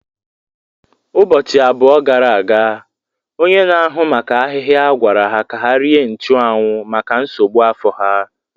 Ụbọchị abụọ gara aga, onye na-ahụ maka ahịhịa gwara ha ka ha rie nchuanwu maka nsogbu afọ ha.